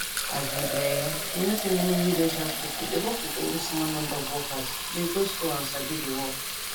as in[um]you know say many willage hospital dey work with only small number of workers dey go school and sabi di work